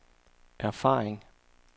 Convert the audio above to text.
erfaring